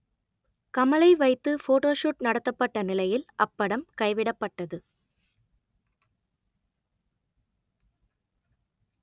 கமலை வைத்து ஃபோட்டோஷுட் நடத்தப்பட்ட நிலையில் அப்படம் கைவிடப்பட்டது